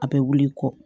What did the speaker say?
A bɛ wuli i kɔ